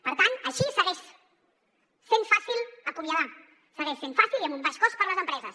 per tant així segueix sent fàcil acomiadar segueix sent fàcil i amb un baix cost per a les empreses